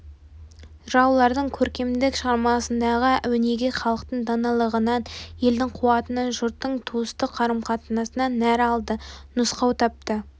жыраулардың көркемдік шығармасындағы өнеге халықтың даналығынынан елдің қуатынан жұрттың туыстық қарым қатынасынан нәр алды нұсқау тапты